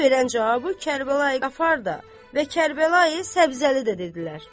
Qasıməli verən cavabı Kərbəla Qafar da və Kərbəla Səbzəli də dedilər.